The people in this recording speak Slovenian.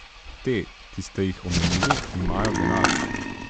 Te, ki ste jih omenili, imajo denar.